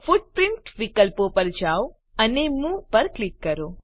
footprint વિકલ્પ પર જાઓ અને મૂવ પર ક્લિક કરો